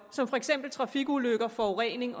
som for eksempel trafikulykker forurening